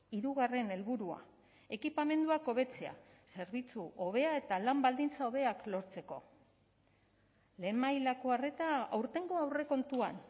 hirugarren helburua ekipamenduak hobetzea zerbitzu hobea eta lan baldintza hobeak lortzeko lehen mailako arreta aurtengo aurrekontuan